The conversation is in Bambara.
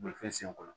Bolifɛn sen kɔrɔ